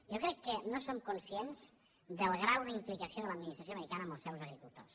jo crec que no som conscients del grau d’implicació de l’administració americana en els seus agricultors